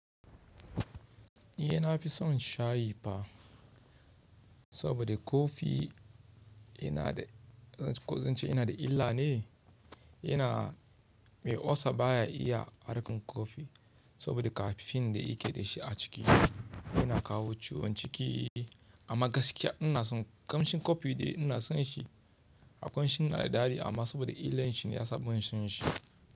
Ni dai na fi son shayi fa, saboda kofi yana da, ko zan ce yana da illa ne, yana mai olsa baya iya farkon kofi saboda caffeine da yake da shi a ciki yana kawo ciwon ciki. Amma gaskiya ina son kamshin kofi ɗin ina son shi, hakon shi yana da dadi amma saboda illar shi ne ya sa ban son shi.